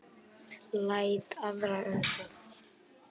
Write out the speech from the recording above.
Læt aðra um það.